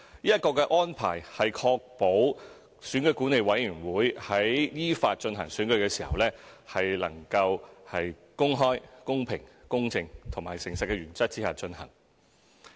這個安排是確保選舉管理委員會在依法進行選舉時，能夠在公開、公平、公正和誠實的原則下進行。